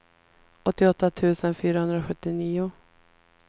åttioåtta tusen fyrahundrasjuttionio